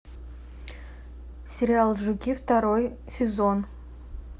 сериал жуки второй сезон